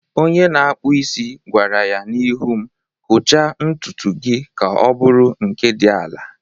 Onye na-akpụ isi gwara ya n'ihu m, "Kọchaa ntutu gị ka ọ bụrụ nke dị ala""